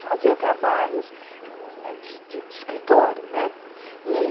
Fazia trabalhos de de escritório, né? E